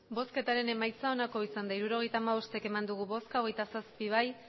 emandako botoak hirurogeita hamabost bai hogeita zazpi ez